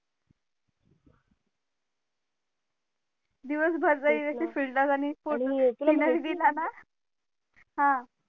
दिवस भर जरी असे filter आणि photo हा